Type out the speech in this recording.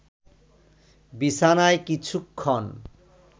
বিছানায় কিছুক্ষণ